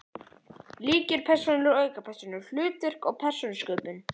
Lykilpersónur og aukapersónur, hlutverk og persónusköpun